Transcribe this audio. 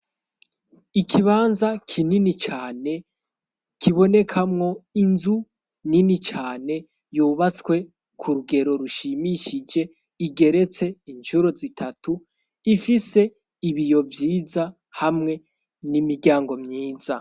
Ikibanza kinini cane kibonekamwo inzu nini cane yubatswe ku rugero rushimishije igeretse inshuro zitatu ifise ibiyo vyiza hamwe n'imiryango myiza.